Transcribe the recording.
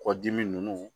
Kɔdimi